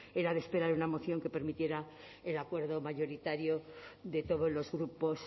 era de esperar en una moción que permitiera el acuerdo mayoritario de todos los grupos